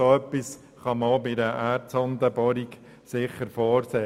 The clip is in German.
Dergleichen kann sicher auch bei Erdsondenbohrungen vorgesehen werden.